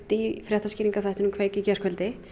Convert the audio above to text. í fréttaskýringaþættinum kveik í gærkvöldi